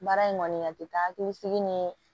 Baara in kɔni a tɛ taa hakili sigi ni